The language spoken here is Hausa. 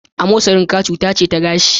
Amosarin ka cuta ce ta gashi.